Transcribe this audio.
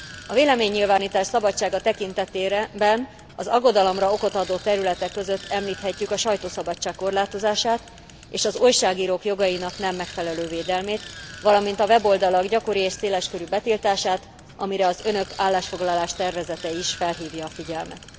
A véleménynyilvánítás szabadsága tekintetében az aggodalomra okot adó területek között említhetjük a sajtószabadság korlátozását, az újságírók jogainak nem megfelelő védelmét, valamint a weboldalak gyakori és széles körű betiltását, amire az Önök állásfoglalás tervezete is felhívja a figyelmet.